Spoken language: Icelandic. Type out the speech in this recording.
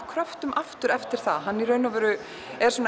kröftum eftir eftir það hann er